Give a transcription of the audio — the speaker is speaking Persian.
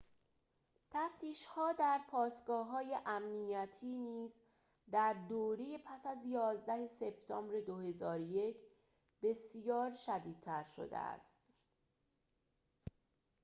تفتیش‌ها در پاسگاه های امنیتی نیز در دوره پس از ۱۱ سپتامبر ۲۰۰۱ بسیار شدیدتر شده است